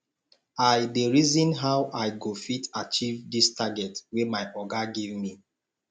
i dey reason how i go fit achieve dis target wey my oga give me